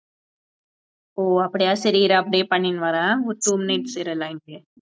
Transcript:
ஓ அப்படியா சரி இதை அப்படியே பண்ணிட்டு வரேன், ஒரு two minutes இரு line லயே